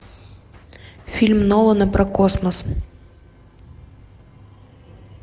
фильм нолана про космос